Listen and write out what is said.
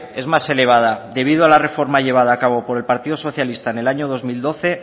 es más elevada debido a la reforma llevada a cabo por el partido socialista en el año dos mil doce